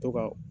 To ka